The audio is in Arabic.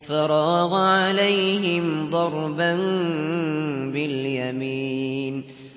فَرَاغَ عَلَيْهِمْ ضَرْبًا بِالْيَمِينِ